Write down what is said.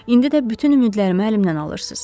İndi də bütün ümidlərimi əlimdən alırsız.